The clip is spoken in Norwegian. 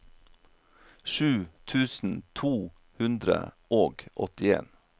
sju tusen to hundre og åttien